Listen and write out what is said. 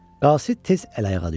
Qasid tez əl ayağa düşdü.